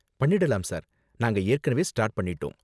பண்ணிடலாம் சார், நாங்க ஏற்கனவே ஸ்டார்ட் பண்ணிட்டோம்.